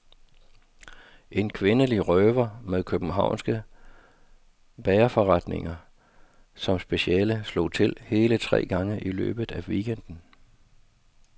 En kvindelig røver med københavnske bagerforretninger som speciale slog til hele tre gange i løbet af weekenden.